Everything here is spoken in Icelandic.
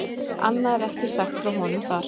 Annað er ekki sagt frá honum þar.